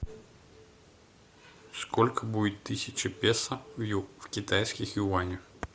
сколько будет тысяча песо в китайских юанях